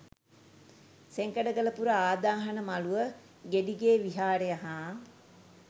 සෙංකඩගලපුර ආදාහන මළුව, ගෙඩිගේ විහාරය හා